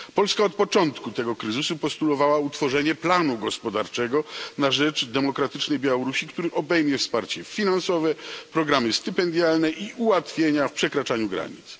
Polska od początku tego kryzysu postulowała utworzenie planu gospodarczego na rzecz demokratycznej Białorusi, który obejmie wsparcie finansowe, programy stypendialne i ułatwienia w przekraczaniu granic.